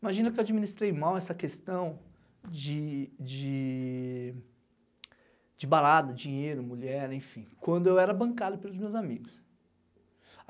Imagina que eu administrei mal essa questão de de... de balada, dinheiro, mulher, enfim, quando eu era bancado pelos meus amigos.